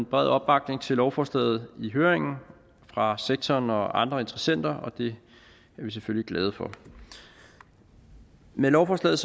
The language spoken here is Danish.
bred opbakning til lovforslaget i høringen fra sektoren og andre interessenter og det er vi selvfølgelig glade for med lovforslaget